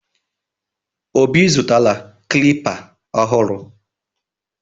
Obi zụtara klịpa ọhụrụ.